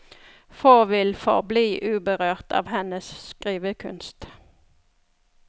Få vil forbli uberørt av hennes skrivekunst.